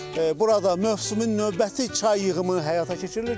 Burada mövsümün növbəti çay yığımı həyata keçirilir.